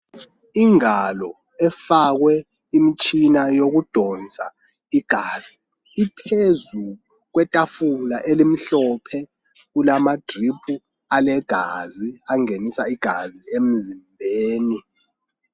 Ingalo efakwe imitshina yokudonsa igazi iphezu kwetafula elimhlophe kulamadrip alegazi angenisa igazi emzimbeni.